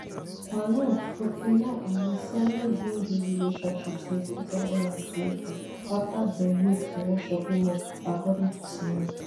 quarong forty-nine and ms sani bin dey for relationship since two thousand and twenty afta dem meet for one shopping mall according to sani